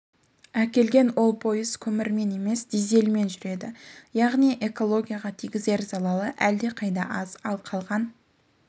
әкелген ол пойыз көмірмен емес дизельмен жүреді яғни экологияға тигізер залалы әлдеқайда аз ал қалған